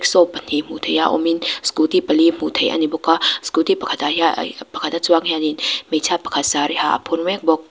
saw pahnih hmuh theih a awm in scooty pali hmuh theih a ni bawk a scooty pakhat ah pakhat a chuang hian in hmeichhia pakhat sari ha a phur mek bawk.